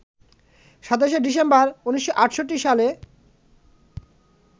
২৭শে December ১৯৬৮ সালে